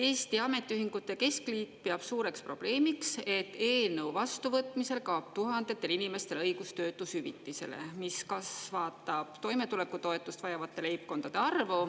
Eesti Ametiühingute Keskliit peab suureks probleemiks, et eelnõu vastuvõtmisel kaob tuhandetel inimestel õigus töötushüvitisele, mis kasvatab toimetulekutoetust vajavate leibkondade arvu.